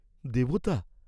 দেবতা?